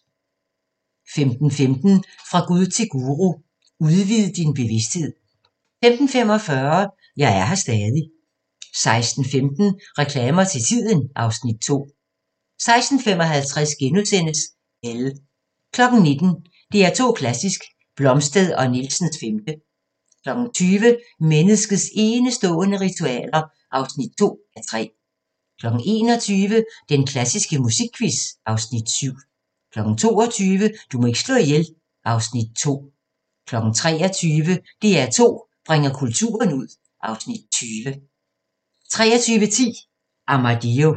15:15: Fra Gud til Guru: Udvid din bevisthed 15:45: Jeg er her stadig 16:15: Reklamer til tiden (Afs. 2) 16:55: Elle * 19:00: DR2 Klassisk: Blomstedt & Nielsens 5. 20:00: Menneskets enestående ritualer (2:3) 21:00: Den klassiske musikquiz (Afs. 7) 22:00: Du må ikke slå ihjel (Afs. 2) 23:00: DR2 bringer kulturen ud (Afs. 20) 23:10: Armadillo